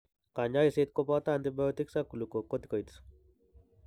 Kanyaeset koboto antibiotics ak glucocorticoids